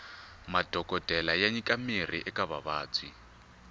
madhokodele ya nyika mirhi eka vavabyi